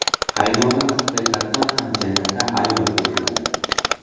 Qaynonam haqiqatdan ham jannati ayol edilar.